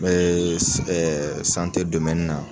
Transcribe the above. N bɛ na.